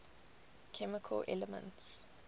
chemical elements